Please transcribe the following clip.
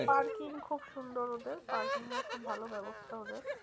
Parking খুব সুন্দর ওদের parking এর খুব ভালো ব্যাবস্থা ওদের।